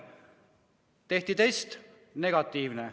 Tehti test – negatiivne.